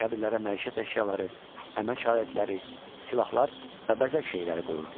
Qəbirlərə məişət əşyaları, əmək alətləri, silahlar və bəzək şeyləri qoyurdular.